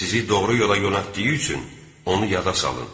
Sizi doğru yola yonatdığı üçün onu yada salın.